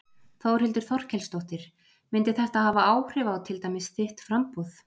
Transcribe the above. Þórhildur Þorkelsdóttir: Myndi þetta hafa áhrif á til dæmis þitt framboð?